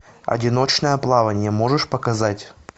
одиночное плавание можешь показать